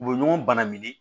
U bɛ ɲɔgɔn bana minɛ